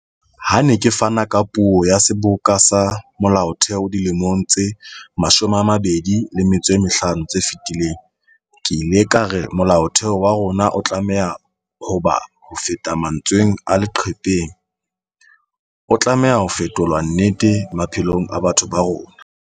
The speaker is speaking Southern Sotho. Ha ke ne ke fana ka puo ya Seboka sa Molaotheo dilemong tse 25 tse fetileng, ke ile ka re Molaotheo wa rona o tlameha ho ba hofeta mantsweng a leqhepeng, o tlameha ho fetolwa nnete maphelong a batho ba rona.